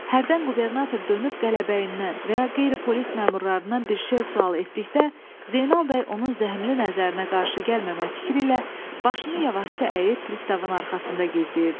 Hərdən qubernator dönüb qələbəyindən və ya qeyri-polis məmurlarından bir şey sual etdikdə, Zeynal bəy onun zəhmli nəzərinə qarşı gəlməmək fikri ilə başını yavaşca əyib pristavın arxasında gizləyirdi.